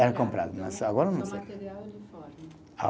Era comprado, mas agora não sei. Material e uniforme. Ah